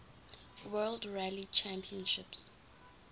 world rally championship